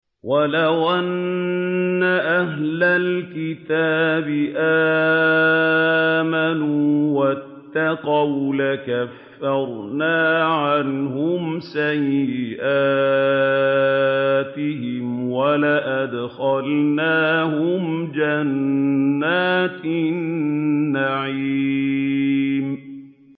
وَلَوْ أَنَّ أَهْلَ الْكِتَابِ آمَنُوا وَاتَّقَوْا لَكَفَّرْنَا عَنْهُمْ سَيِّئَاتِهِمْ وَلَأَدْخَلْنَاهُمْ جَنَّاتِ النَّعِيمِ